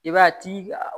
I b'a ye a ti